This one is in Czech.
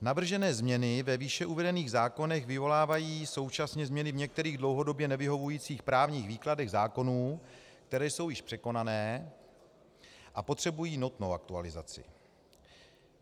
Navržené změny ve výše uvedených zákonech vyvolávají současně změny v některých dlouhodobě nevyhovujících právních výkladech zákonů, které jsou již překonané a potřebují nutnou aktualizaci.